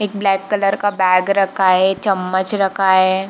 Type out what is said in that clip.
एक black colour का bag रखा है चमच रखा है।